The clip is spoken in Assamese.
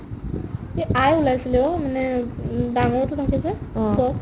এ আই ওলাইছিলে অ' মানে উম ডাঙৰটো থাকে যে সেই